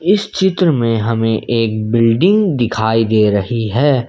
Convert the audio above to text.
इस चित्र में हमें एक बिल्डिंग डिखाई दे रही है।